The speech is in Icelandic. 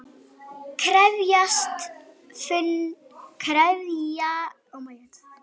Krefjast fundar í öryggisráði